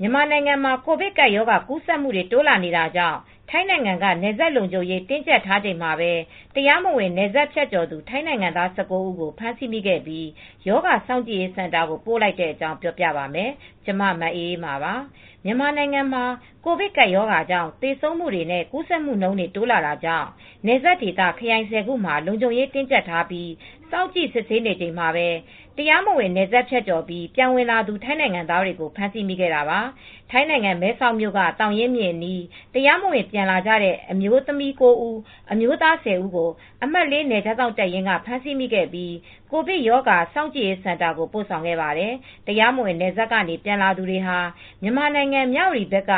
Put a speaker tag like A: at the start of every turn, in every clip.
A: မြန်မာနိုင်ငံမှာ ကိုဗစ်ကပ်ရောဂါ ကူးစက်မှုတွေ တိုးလာနေတာကြောင့် ထိုင်းနိုင်ငံက နယ်စပ်လုံခြုံရေး တင်းကြပ်ထားချိန်မှာပဲ တရားမဝင် နယ်စပ်ဖြတ်ကျော်သူ ထိုင်းနိုင်ငံသား ၁၉ ဦးကို ဖမ်းဆီးမိခဲ့ပြီး၊ ရောဂါစောင့်ကြည့်ရေးစင်တာကို ပို့လိုက်တဲ့အကြောင်း ပြောပြပါမယ်။ ဗွီအိုအေမြန်မာပိုင်းသတင်းထောက် မအေးအေးမာက ထိုင်းမြန်မာနယ်စပ်ကနေ သတင်းပေးပို့ထားပါတယ်။ မြန်မာနိုင်ငံမှာ ကိုဗစ်ကပ်ရောဂါကြောင့် သေဆုံးမှုတွေနဲ့ ကူးစက်မှုတွေ တိုးလာနေတာကြောင့် နယ်စပ်ဒေသ ခရိုင် ၁၀ ခုမှာ လုံခြုံရေးတင်းကြပ်ထားပြီး စောင့်ကြည့်စစ်ဆေးနေချိန်မှာပဲ တရားမဝင် နယ်စပ်ဖြတ်ကျော်ပြီး ပြန်ဝင်လာသူ ထိုင်းနိုင်ငံသားတွေကို ဖမ်းဆီးမိခဲ့တာပါ။ ထိုင်းနိုင်ငံမဲဆောက်မြို့က သောင်ရင်းမြစ်အနီး တရားမဝင် ပြန်ဝင်လာတဲ့ အမျိုးသမီး ၉ ဦး၊ အမျိုးသား ၁၀ ဦးကို အမှတ် (၄) နယ်ခြားစောင့်တပ်ရင်းက ဖမ်းဆီးမိခဲ့ပြီး ကိုဗစ်ရောဂါစောင့်ကြည့်ရေး စင်တာကို ပိုဆောင်ခဲ့ပါတယ်။ တရားမဝင် နယ်စပ်ကနေ ပြန်လာသူတွေဟာ မြန်မာနိုင်ငံ မြဝတီဘက်က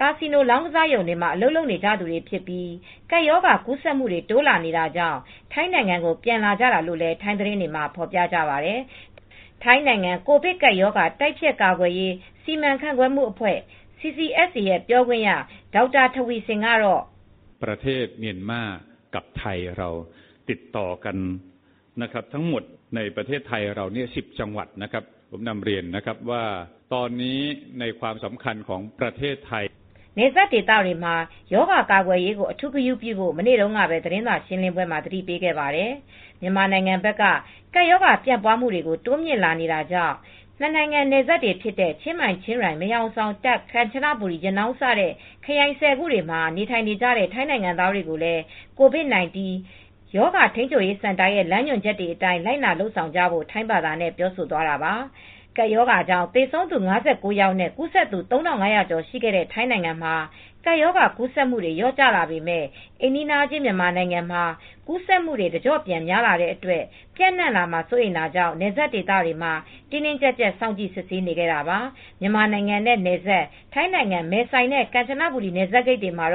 A: ကာစီနိုလောင်းကစားရုံတွေမှာ အလုပ်လုပ်နေကြသူတွေဖြစ်ပြီး ကပ်ရောဂါ ကူးစက်မှုတွေ တိုးလာနေတာကြောင့် ထိုင်းနိုင်ငံကို ပြန်လာကြတာလို့လည်း ထိုင်းသတင်းတွေမှာ ဖော်ပြကြပါတယ်။ ထိုင်းနိုင်ငံ ကိုဗစ်ကပ်ရောဂါ တိုက်ဖျက်ကာကွယ်ရေး စီမံခန့်ခွဲမှုအဖွဲ့ (CCSA) ပြောခွင့်ရ Dr. Taweesilp Visanuyothin ကတေ
B: ာ့ နယ်စ
A: ပ်ဒေသတွေမှာ ရောဂါကာကွယ်ရေးကို အထူးဂရုပြုဖို့ မနေ့တုန်းကပဲ သတင်းစာရှင်းလင်းပွဲမှာ သတိပေးခဲ့ပါတယ်။ မြန်မာနိုင်ငံဘက်က ကပ်ရောဂါပြန့်ပွားမှုတွေ တိုးမြင့်လာတာကြောင့် နှစ်နိုင်ငံနယ်စပ်တွေဖြစ်တဲ့ ချင်းမိုင်-ချင်းရိုင် မဲဟောင်ဆောင် တာ့ခ်- ကမ်ချနဘူရီ ရနောင်းစတဲ့ ခရိုင် ၁၀ ခုမှာ နေထိုင်နေတဲ့ ထိုင်းနိုင်ငံသားတွေကိုလည်း ကိုဗစ်-၁၉ ရောဂါထိန်းချုပ်ရေး စင်တာရဲ့ လမ်းညွန်ချက်တွေအတိုင်း လိုက်နာ လုပ်ဆောင်ကြဖို့ ထိုင်းဘာသာနဲ့ ပြောဆိုသွားတာပါ။ ကိုဗစ်ကပ်ရောဂါကြောင့် သေဆုံးသူ ၅၉ ယောက်နဲ့ ကူးစက်သူ ၃,၅၀၀ ကျော် ရှိခဲ့တဲ့ ထိုင်းနိုင်ငံမှာ ကပ်ရောဂါကူးစက်မှုတွေ လျော့ကျလာပေမဲ့ အိမ်နီးချင်း မြန်မာနိုင်ငံမှာ ကူးစက်မှုတွေ တကျော့ပြန်များလာတဲ့အတွက် ပျံ့နှံ့လာမှာ စိုးရိမ်တာကြောင့် နယ်စပ်ဒေသတွေမှာ တင်းတင်းကြပ်ကြပ် စောင့်ကြည့်စစ်ဆေးနေတာပါ။ မြန်မာနိုင်ငံနဲ့နယ်စပ် ထိုင်းနိုင်ငံ မဲဆိုင်နဲ့ ကမ်ချဘူရီ နယ်စပ်ဂိတ်တွေမှာ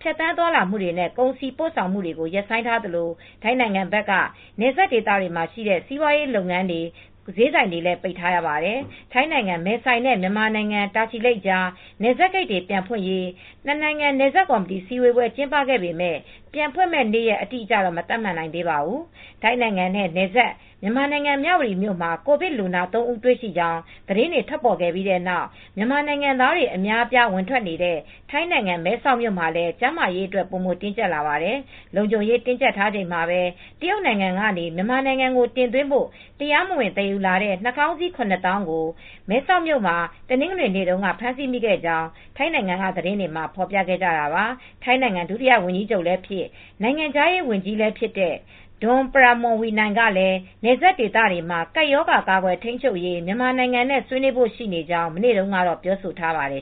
A: ဖြတ်သန်းသွားလာမှုတွေနဲ့ ကုန်စည်ပို့ဆောင်မှုတွေကို ရပ်ဆိုင်းထားသလို ထိုင်းနိုင်ငံဘက်က နယ်စပ်ဒေသတွေမှာ ရှိတဲ့ စီးပွားရေးလုပ်ငန်းတွေ ဈေးဆိုင်တွေလည်း ပိတ်ထားရပါတယ်။ ထိုင်းနိုင်ငံ မဲဆိုင်နဲ့ မြန်မာနိုင်ငံ တာချီလိတ်ကြား နယ်စပ်ဂိတ်တွေ ပြန်ဖွင့်ရေး နယ်စပ်ကော်မတီအစည်းဝေး ကျင်းပခဲ့ပေမယ့် ပြန်ဖွင့်မယ့် နေ့ရက် အတိအကျတော့ မသတ်မှတ်နိုင်သေးပါဘူး။ ထိုင်းနိုင်ငံနဲ့ နယ်စပ် မြန်မာနိုင်ငံ မြဝတီမြို့မှာ ကိုဗစ်လူနာ ၃ ဦး တွေ့ရှိကြောင်း သတင်းတွေ ထွက်ပေါ်လာပြီးနောက် မြန်မာနိုင်ငံသားတွေ အများအပြား ဝင်ထွက်နေတဲ့ ထိုင်းနိုင်ငံ မဲဆောက်မြို့မှာလည်း ကျန်းမာရေးအတွက် ပိုမိုတင်းကြပ်လာနေပါတယ်။ လုံခြုံရေး တင်းကြပ်ထားချိန်မှာပဲ တရုတ်နိုင်ငံကနေ မြန်မာနိုင်ငံကို တင်သွင်းဖို့ တရားမဝင်သယ်ယူလာတဲ့ နှာခေါင်းစည်း ၇၀,၀၀၀ ကို မဲဆောက်မှာ တနင်္ဂနွေနေ့တုန်းက ဖမ်းဆီးမိခဲ့ကြောင်းလည်း ထိုင်းနိုင်ငံက သတင်းတွေမှာ ဖော်ပြခဲ့ကြတာပါ။ ထိုင်းနိုင်ငံ ဒုတိယဝန်ကြီးချုပ်လည်းဖြစ် နိုင်ငံခြားရေးဝန်ကြီးလည်းဖြစ်တဲ့ Don Pramudwinai ကလည်း နယ်စပ်ဒေသမှာ ကပ်ရောဂါကာကွယ်ထိန်းချုပ်ရေး မြန်မာနိုင်ငံနဲ့ ဆွေးနွေးဖို့ရှိကြောင်း မနေ့တုန်းကပဲ ပြောဆိုထားပါတယ်